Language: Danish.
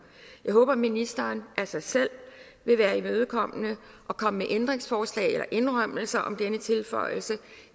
jeg håber at ministeren af sig selv vil være imødekommende og komme med ændringsforslag eller indrømmelser om denne tilføjelse